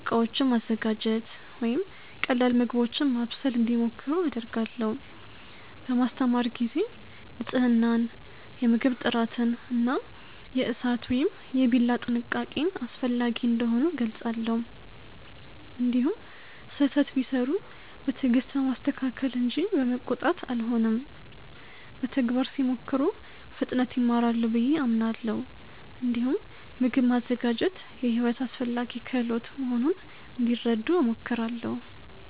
ዕቃዎችን ማዘጋጀት ወይም ቀላል ምግቦችን ማብሰል እንዲሞክሩ አደርጋለሁ። በማስተማር ጊዜ ንፅህናን፣ የምግብ ጥራትን እና የእሳት ወይም የቢላ ጥንቃቄን አስፈላጊ እንደሆኑ እገልጻለሁ። እንዲሁም ስህተት ቢሠሩ በትዕግስት በማስተካከል እንጂ በመቆጣት አልሆንም። በተግባር ሲሞክሩ በፍጥነት ይማራሉ ብዬ አምናለሁ። እንዲሁም ምግብ ማዘጋጀት የሕይወት አስፈላጊ ክህሎት መሆኑን እንዲረዱ እሞክራለሁ።